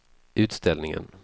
utställningen